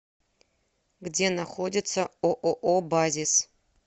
где находится ооо базис